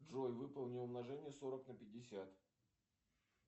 джой выполни умножение сорок на пятьдесят